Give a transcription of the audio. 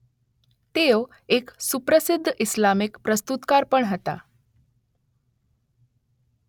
તેઓ એક સુપ્રસિદ્ધ ઇસ્લામિક પ્રસ્તુતકાર પણ હતા.